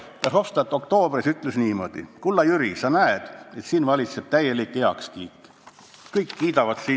Verhofstadt ütles oktoobris niimoodi: "Kulla Jüri, sa näed, et siin valitseb täielik heakskiit – kõik kiidavad sind.